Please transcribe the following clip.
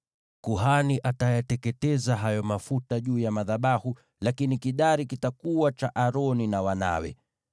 Kuhani atayateketeza hayo mafuta juu ya madhabahu, lakini kidari kitakuwa cha Aroni na wanawe.